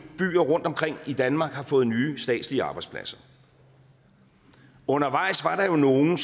byer rundtomkring i danmark har fået nye statslige arbejdspladser undervejs var der jo nogle